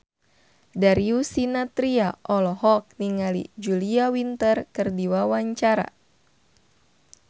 Darius Sinathrya olohok ningali Julia Winter keur diwawancara